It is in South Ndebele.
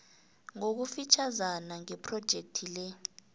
ngokufitjhazana ngephrojekhthi le